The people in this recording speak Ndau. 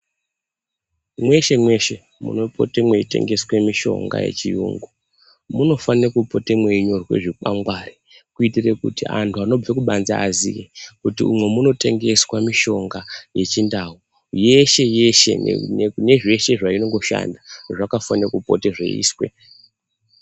Mweshe mweshe munopote mweitengeswe mishonga yechiyungu munofane kupota mweinyorwe zvikwangwari kuitira kuti antu anobve kubanze aziye kuti umwo munotengeswe mishonga yechindau yeshe yeshe nezvese zvainongoshanda zvakafane kupote zveiiswe.